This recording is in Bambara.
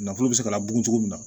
Nafolo bɛ se ka laburun cogo min na